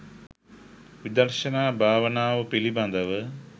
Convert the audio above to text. විදර්ශනා භාවනාව පිළිබඳව